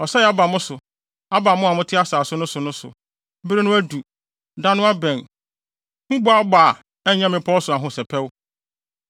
Ɔsɛe aba mo so, aba mo a mote asase no so no so. Bere no adu, da no abɛn; huboabɔ a ɛnyɛ mmepɔw so ahosɛpɛw.